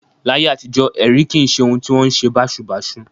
Láyé àtijọ́, ẹ̀rí kì í ṣe ohun tí ó wọn ṣe báṣubàṣu